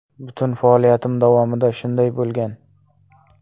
Butun faoliyatim davomida shunday bo‘lgan.